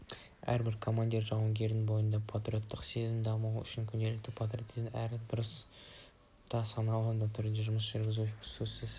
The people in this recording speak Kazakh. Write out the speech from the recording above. әрбір командир жауынгердің бойында патриоттық сезімді дамыту үшін күнделікті практикалық әрі дұрыс та саналы түрде жұмыс жүргізудің сөзсіз